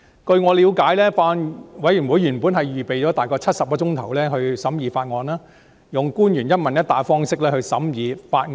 據我了解，法案委員會原本預備了大概70小時讓官員和議員用"一問一答"的方式詳細審議法案。